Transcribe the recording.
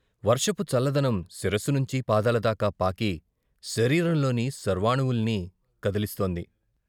వర్షపు చల్లదనం శిరస్సు నుంచి పాదాల దాక పాకి శరీరంలోని సర్వానువుల్ని కదిలిస్తోంది.